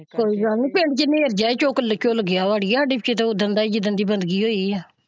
ਕੋਈ ਗੱਲ ਨਹੀਂ ਫ਼ੇਰ ਜਿਹਦੀ ਹੱਡੀਆਂ ਹੀ ਝੁੱਲ ਗਈਆਂ ਉਹ ਦਾ ਹੀ ਜਿੰਦਣ ਦੀ ਬੰਦਗੀ ਹੋਇ ਹੈ।